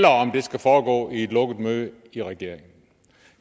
om det skal foregå i et lukket møde i regeringen